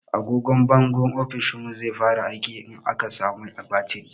Agogwan bangon ofishinmu zai fara aiki in aka sa mai batiri.